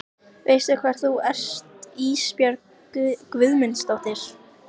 Húsanes í Breiðuvík þá hann kvæntist.